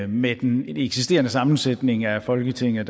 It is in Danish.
med den eksisterende sammensætning af folketinget